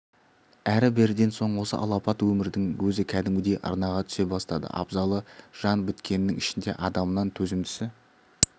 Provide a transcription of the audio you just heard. әрі-беріден соң осы алапат өмірдің өзі кәдімгідей арнаға түсе бастады абзалы жан біткеннің ішінде адамнан төзімдісі